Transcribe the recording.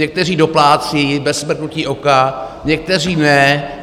Někteří doplácejí bez mrknutí oka, někteří ne.